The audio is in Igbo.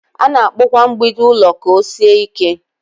A na-akpụ kwa mgbidi ụlọ ka ọ sie ike.